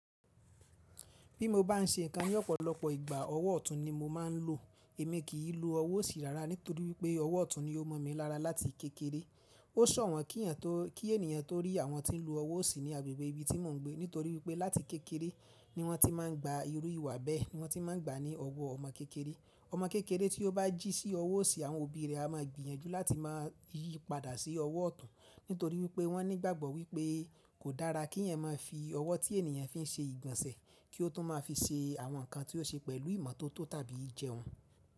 Bí mo bá n ṣe nǹkan ní ọ̀pọ̀lọpọ̀ ìgbà ọwọ́ ọ̀tún ni mo máa ń lò. Èmi kì í lo ọwọ́ òsì rárá nítorí wípé ọwọ́ ọ̀tún ni ó mọ̀ mi lára láti kékeré. Ó sòwọ́n kí ènìyàn tó rí àwọn tí ń lo ọwọ́ òsì ní agbègbè ibi tí mò ń gbé nítorí wípé láti kékeré ni wọ́n ti máa ń gba irú ìwà bẹ́ẹ̀, ni wọ́n ti máa ń gba ní ọwọ́ ọmọ kékeré. Ọmọ kékeré tí ó bá jí sí ọwọ́ òsì àwọn òbí rẹ̀ a máa gbìyànjú láti máa yí padà sí ọwọ́ ọ̀tún nítorí wípé wọ́n ní ìgbàgbọ́ wípé kò dára kí ènìyàn máa fi ọwọ́ tí ènìyàn fi ń ṣe ìgbọ̀nsẹ̀ kí ó tún máa fi ṣe àwọn nǹkan tí ó ṣe pẹ̀lú ìmọ́tótó tàbí jẹun.